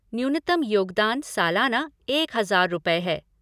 न्यूनतम योगदान सालाना एक हजार रुपये हैं।